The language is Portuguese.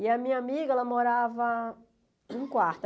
E a minha amiga morava em um quarto.